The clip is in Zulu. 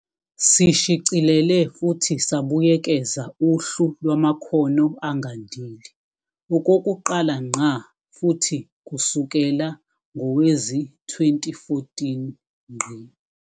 Sishicilele futhi sabuyekeza uHlu Lwamakhono Angandile, okokuqala ngqa futhi kusukela ngowezi-2014.